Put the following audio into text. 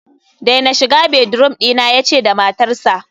daina shiga bedroom dina, yace da matarsa